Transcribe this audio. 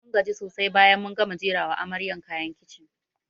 Mun gaji sosai bayan mun gama jera wa amaryan kayan kicin